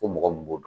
Ko mɔgɔ min b'o dɔn